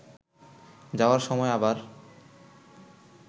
যাওয়ার সময় আবার